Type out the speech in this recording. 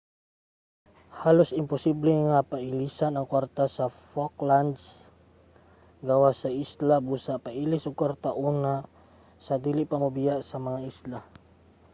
halos imposible nga pailisan ang kwarta sa falklands gawas sa isla busa pailis og kwarta una sa dili pa mobiya sa mga isla